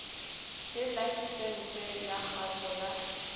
le lakesense ya kgaso ya